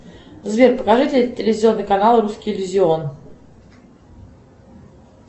сбер покажи телевизионный канал русский иллюзион